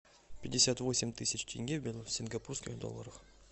пятьдесят восемь тысяч тенге в сингапурских долларах